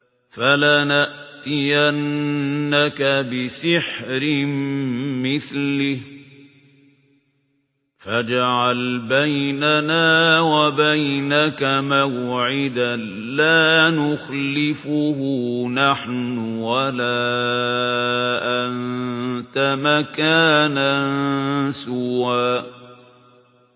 فَلَنَأْتِيَنَّكَ بِسِحْرٍ مِّثْلِهِ فَاجْعَلْ بَيْنَنَا وَبَيْنَكَ مَوْعِدًا لَّا نُخْلِفُهُ نَحْنُ وَلَا أَنتَ مَكَانًا سُوًى